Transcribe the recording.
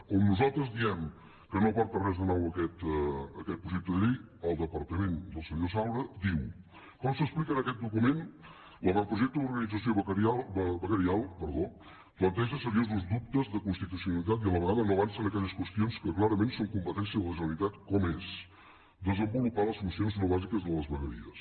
on nosaltres diem que no aporta res de nou aquest projecte de llei el departament del senyor saura diu com s’explica en aquest document l’avantprojecte d’organització veguerial planteja seriosos dubtes de constitucionalitat i a la vegada no avança en aquelles qüestions que clarament són competència de la generalitat com és desenvolupar les funcions no bàsiques de les vegueries